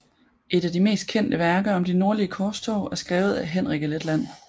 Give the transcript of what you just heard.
Et af de mest kendte værker om de nordlige korstog er skrevet af Henrik af Letland